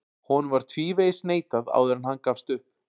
Honum var tvívegis neitað áður en hann gafst upp.